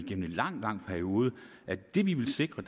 en lang lang periode at det vi vil sikre